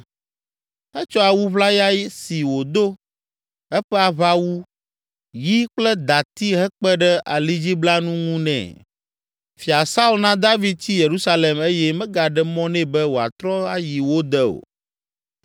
Etsɔ awu ʋlaya si wòdo, eƒe aʋawu, yi kple dati hekpe ɖe alidziblanu ŋu nɛ. Fia Saul na David tsi Yerusalem eye megaɖe mɔ nɛ be wòatrɔ ayi wo de o.